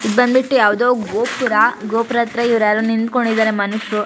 ಇದ್ ಬಂದ್ಬಿಟ್ಟು ಯಾವ್ದೋ ಗೋಪುರ ಗೋಪುರ ಹತ್ರ ಇವ್ರ್ ಯಾರೋ ನಿಂಥಂಕೊಂಡಿದ್ದಾರೆ ಮನುಷ್ಯರು-